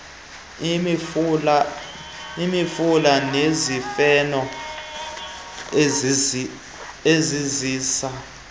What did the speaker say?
imifula nezifefo eziziza